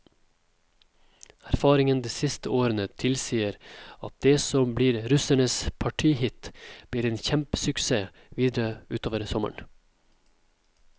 Erfaringen de siste årene tilsier at det som blir russens partyhit, blir en kjempesuksess videre utover sommeren.